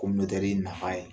nafa ye